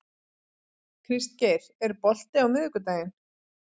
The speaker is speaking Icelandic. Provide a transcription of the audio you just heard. Kristgeir, er bolti á miðvikudaginn?